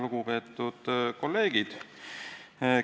Lugupeetud kolleegid!